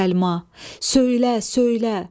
Söylə, söylə!